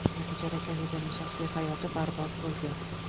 Natijada Kanizaning shaxsiy hayoti barbod bo‘lgan.